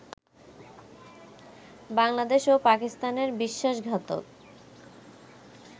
বাংলাদেশ ও পাকিস্তানের বিশ্বাসঘাতক